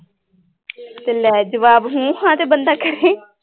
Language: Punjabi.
ਤੇ ਲੈ ਜਵਾਬ ਹੂੰ ਹਾਂ ਤੇ ਬੰਦਾ ਕਹਿ ਹੀ